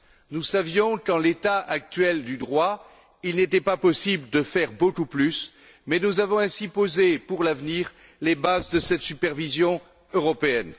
Nous savions qu'en l'état actuel du droit, il n'était pas possible de faire beaucoup plus, mais nous avons ainsi posé pour l'avenir les bases de cette supervision européenne.